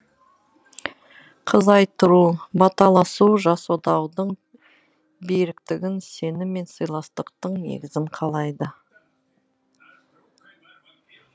қыз айттыру баталасу жас отаудың беріктігін сенім мен сыйластықтың негізін қалайды